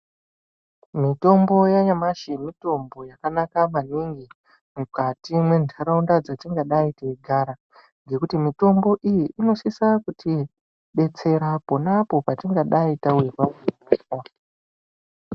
Mitombo yanyamashi mitombo yakanaka maningi, mukati mwentaraunda dzatingadei teigarava, ngekuti mitombo iyi inosisa kutibetsera ponapo patingadai tawirwa ngehosha.